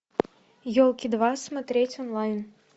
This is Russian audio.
елки два смотреть онлайн